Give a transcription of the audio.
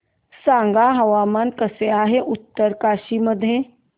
सांगा हवामान कसे आहे उत्तरकाशी मध्ये